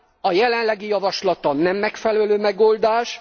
A jelenlegi javaslat nem megfelelő megoldás.